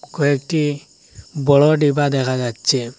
কয়েকটি বড় ডিবা দেখা যাচ্চে।